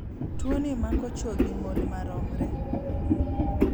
Tuoni mako chu gi mon maromre.